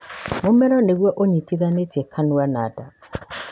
Mũmero nĩ gũo ũnyitithanĩtie kanua na nda.